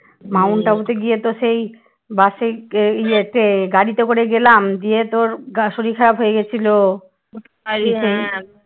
Mount টাবুতে গিয়ে তো সেই বাসে এই গাড়িতে করে গেলাম দিয়ে তোর শরীর খারাপ হয়ে গেছিল